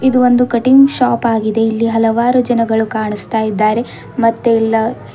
ಇದು ಒಂದು cutting shop ಆಗಿದೆ ಇಲ್ಲಿ ಹಲವಾರು ಜನಗಳು ಕಾಣಿಸ್ತಾ ಇದ್ದಾರೆ ಮತ್ತೆ ಇಲ್ಲ--